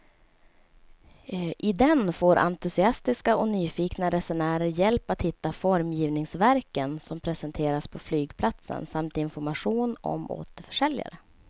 I den får entusiastiska och nyfikna resenärer hjälp att hitta formgivningsverken som presenteras på flygplatsen samt information om återförsäljare.